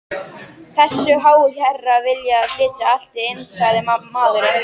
Þessir háu herrar vilja flytja allt inn sagði maðurinn.